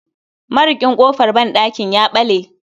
Marikin kofar banɗakin ya bale